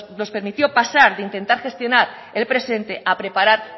nos permitió pasar de intentar gestionar el presente a preparar